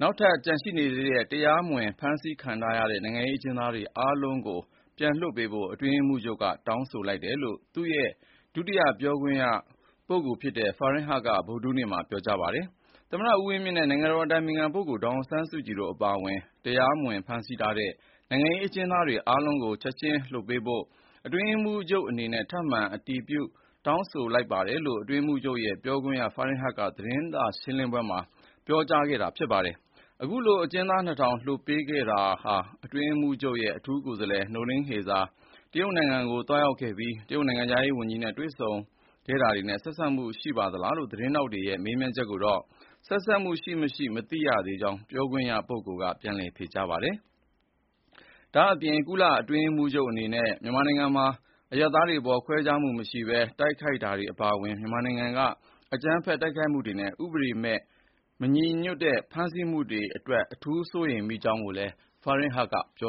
နောက်ထပ်ကျန်ရှိနေတဲ့ တရားမဝင်ဖမ်းဆီးခံထားရတဲ့ နိုင်ငံရေးအကျဉ်းသားအားလုံးကိုလွှတ်ပေးဖို့ အတွင်းရေးမှူးချုပ်ကတောင်းဆိုတယ်လို့ သူ့ရဲ့ ဒုတိယပြောရေးဆိုခွင့်ရှိသူ ဖာဟင်ဟတ်က ဗုဒ္ဓဟူးနေ့မှာပြောခဲ့ပါတယ်။ “သမ္မတဦးဝင်းမြင့်နဲ့ နိုင်ငံတော်အတိုင်ပင်ခံ ဒေါ်ဆောင်ဆန်းစုကြည်တို့အပါအဝင် တရားမဝင် ဖမ်းဆီးထားတဲ့ နိုင်ငံရေးအကျဉ်းသားအားလုံးကို ချက်ခြင်းလွှတ်ပေးဖို့ အတွင်းရေးမှူးချုပ်အနေနဲ့ ထပ်မံအတည်ပြုတောင်းဆိုပါတယ်။” လို့ အတွင်းရေးမှူးချုပ်ရဲ့ ဒုတိယပြောရေးဆိုခွင့်ရှိသူ ဖာဟင်ဟတ်က သတင်းထောက်တွေကို ပြောသွားခဲ့တာပါ။ အခုလို အကျဉ်းသား ၂,၀၀၀ ကျော်လွှတ်ပေးခဲ့တာဟာ အတွင်းရေးမှူးချုပ်ရဲ့ အထူးကိုယ်စားလှယ်နိုလင်းဟေဇာ တရုတ်ကိုသွားခဲ့ပြီး တရုတ်နိုင်ငံခြားရေးဝန်ကြီးနဲ့ တွေ့ဆုံခဲ့တာတွေနဲ့ဆက်စပ်မှုရှိပါသလားလို့ သတင်းထောက်တွေရဲ့ မေးမြန်းတာကိုတော့ ဆက်စပ်မှုရှိမရှိမသိရှိကြောင်း ပြောရေးဆိုခွင့်ရှိသူကပြန်လည်ဖြေကြားခဲ့ပါတယ်။ ဒါ့ပြင် အတွင်းရေးမှူးချုပ်အနေနဲ့ မြန်မာနိုင်ငံမှာ အရပ်သားတွေအပေါ် ခွဲခြားမှုမရှိဘဲ တိုက်ခိုက်တာတွေအပါအဝင် မြန်မာနိုင်ငံက အကြမ်းဖက်တိုက်ခိုက်မှုတွေနဲ့ ဥပဒေနဲ့မညီညွတ်တဲ့ ဖမ်းဆီးနေမှုတွေအတွက် အထူးစိုးရိမ်ကြောင်းကိုလည်း Farhan Heq ကပြော